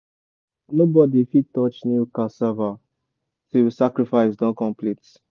nobody fit touch new cassava tilll sacrifice don complete.